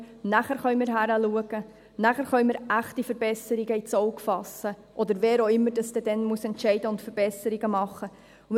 danach können wir hinschauen, danach können wir echte Verbesserungen ins Auge fassen – oder wer auch immer dies dann entscheiden und Verbesserungen machen muss.